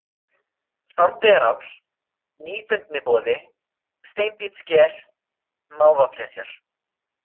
Sandeyjaráll, Nýfundniboði, Steinbítssker, Mávaflesjar